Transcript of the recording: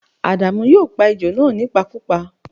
À̀dàmú yóò pa ejò náà nípakúpa